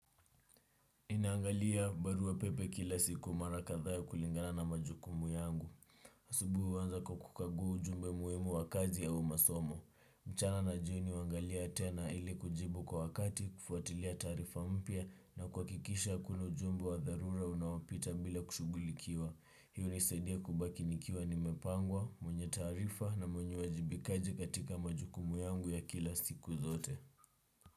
Ninangalia barua pepe kila siku mara kadha ya kulingana na majukumu yangu. Asubuhi wanza kwa kukaguu ujumbe muhimu wa kazi au masomo. Mchana na jioni uangalia tena ili kujibu kwa wakati kufuatilia tarifa mpia na kuakikisha hakuna ujumbe wa darura unawopita bila kushugulikiwa. Hiyo unisedia kubaki nikiwa nimepangwa, mwenye tarifa na mwenye wajibikaji katika majukumu yangu ya kila siku zote.